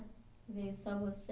Veio só você?